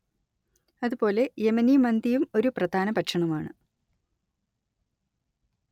അത് പോലെ യെമനി മന്തിയും ഒരു പ്രധാന ഭക്ഷണമാണ്